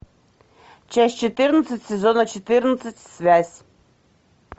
часть четырнадцать сезона четырнадцать связь